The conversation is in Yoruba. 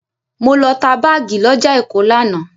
Mo lọ ta báàgì lọ́jà Èkó lánàá.